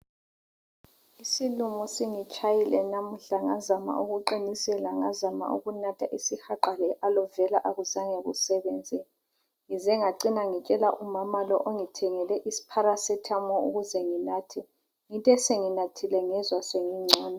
Isilumo sintshayile namhla ngazama ukuqinisela nganatha isihaqa le Alovera akuzange kusebenze ngize ngacina ngitshela umama lo ongithengele paracetamol ukuze nginathe, ngithe senginathile ngazizwa sengingcono.